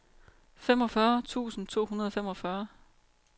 femogfyrre tusind to hundrede og femogfyrre